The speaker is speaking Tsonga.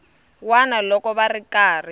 wana loko va ri karhi